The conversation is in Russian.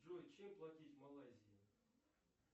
джой чем платить в малайзии